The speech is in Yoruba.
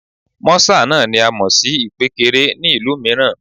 Mọ́sà náà ni a mọ̀ sí ìpékeré ní ìlú mìíràn